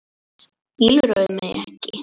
Skilurðu mig ekki?